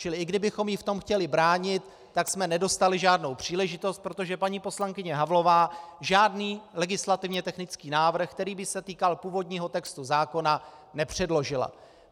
Čili i kdybychom jí v tom chtěli bránit, tak jsme nedostali žádnou příležitost, protože paní poslankyně Havlová žádný legislativně technický návrh, který by se týkal původního textu zákona, nepředložila.